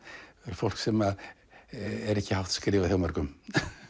fólk sem er ekki hátt skrifað hjá mörgum